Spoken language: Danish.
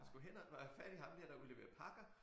Men skulle hen og hvad have fat i ham dér der udleverer pakker